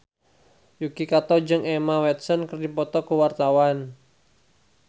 Yuki Kato jeung Emma Watson keur dipoto ku wartawan